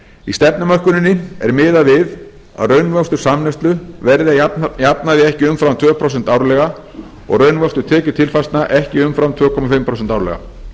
í stefnumörkuninni er miðað við að raunvöxtur samneyslu verði að jafnaði ekki umfram tvö prósent árlega og raunvöxtur tekjutilfærslna ekki umfram tvö og hálft prósent árlega